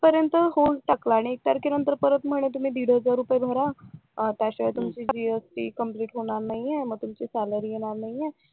पर्यंत होल्ड टाकलं आणि एक तारखे नंतर म्हणे तुम्ही दीडहजार रुपये भर त्याशिवाय तुमची जीएसटी कम्प्लिट होणार नाहीये मग तुमची सॅलरी येणार नाहीये